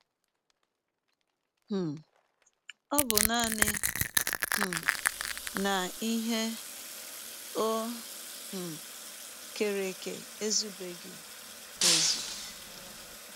um Ọ bụ nanị um na ihe o um kere eke ezụbeghị ezụ.